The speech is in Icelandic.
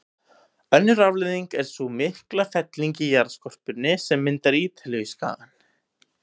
Önnur afleiðing er sú mikla felling í jarðskorpunni sem myndar Ítalíuskagann.